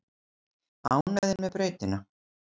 Ánægðir með brautina